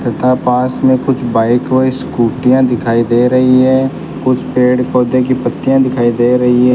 तथा पास में कुछ बाइक व स्कूटीयां दिखाई दे रही हैं कुछ पेड़ पौधे की पत्तियां दिखाई दे रही हैं।